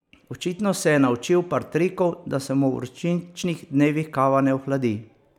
Očitno se je naučil par trikov, da se mu v vročičnih dnevih kava ne ohladi.